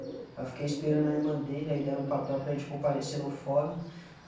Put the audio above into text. Aí eu fiquei esperando a irmã dele, aí deram papel para a gente comparecer no fórum.